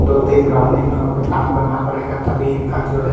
दो तीन राउंड इन लोगो का काम करना पड़ेगा तभी इनका जो है।